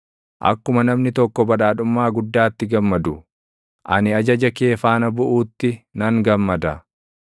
Akkuma namni tokko badhaadhummaa guddaatti gammadu, ani ajaja kee faana buʼuutti nan gammada.